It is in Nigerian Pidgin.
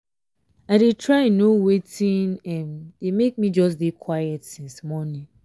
i dey try know wetin um dey make me just dey quiet since morning